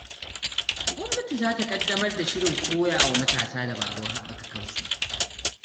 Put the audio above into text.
Gwamnati za ta ƙaddamar da shirin koya wa matasa dabarun haɓaka kansu.